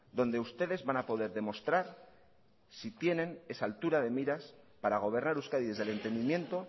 donde ustedes van a poder demostrar si tienen esa altura de miras para gobernar euskadi desde el entendimiento